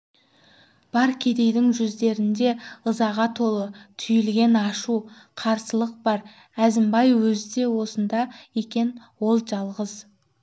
бар кедейдің жүздерінде ызаға толы түйілген ашу қарсылық бар әзімбай өзі де осында екен ол жалғыз